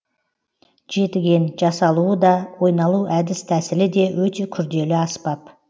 жетіген жасалуы да ойналу әдіс тәсілі де өте күрделі аспап